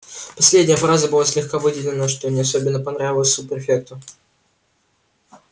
последняя фраза была слегка выделена что не особенно понравилось суб-префекту